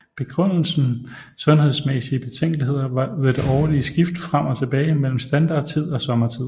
Begrundelsen sundhedsmæssige betænkeligheder ved det årlige skift frem og tilbage mellem standard tid og sommertid